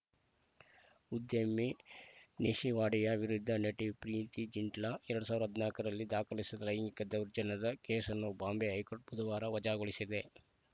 ಉದ್ಯಮಿ ನೆಸಿವಾಡಿಯಾ ವಿರುದ್ಧ ನಟಿ ಪ್ರೀತಿ ಜಿಂಟಳ ಎರಡ್ ಸಾವಿರ ಹದಿನಾಲ್ಕರಲ್ಲಿ ದಾಖಲಿಸಿದ ಲೈಂಗಿಕ ದೌರ್ಜನ್ಯದ ಕೇಸನ್ನು ಬಾಂಬೆ ಹೈಕೋರ್ಟ್‌ ಬುಧವಾರ ವಜಾಗೊಳಿಸಿದೆ